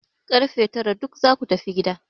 Kar fe tara duk za ku tafi gida!